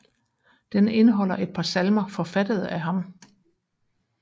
Den indeholder et par salmer forfattede af ham